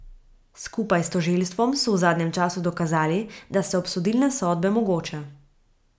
Skupaj s tožilstvom so v zadnjem času dokazali, da so obsodilne sodbe mogoče.